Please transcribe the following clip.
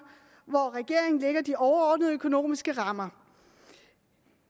hvor regeringen lægger de overordnede økonomiske rammer og